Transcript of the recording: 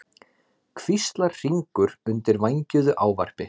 hvíslar Hringur undir vængjuðu ávarpi.